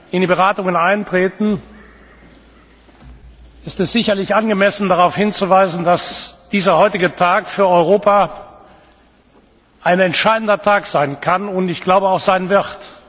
wir in die Beratungen eintreten, ist es sicherlich angemessen darauf hinzuweisen, dass der heutige Tag für Europa ein entscheidender Tag sein kann und auch sein wird.